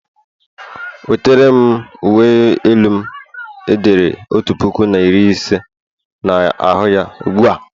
Wetere'm uwe elu m e dere otu puku na iri ise na ahu ya ugbu a!